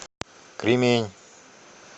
кремень